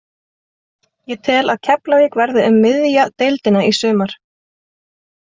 Ég tel að Keflavík verði um miðja deildina í sumar.